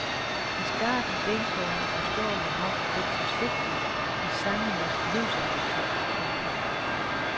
I starten deltog han forståeligt nok lidt forsigtigt i sangenes livsappetit. punktum